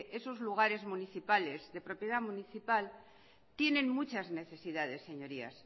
esos lugares municipales de propiedad municipal tienen muchas necesidades señorías